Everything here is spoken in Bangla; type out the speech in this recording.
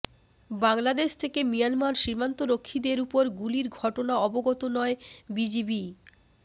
বাংলাদেশ থেকে মিয়ানমার সীমান্তরক্ষীদের ওপর গুলির ঘটনা অবগত নয় বিজিবি